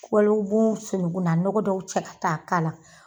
Wali u b'u sunukunna nɔgɔ dɔw cɛ ka taa a k'a la.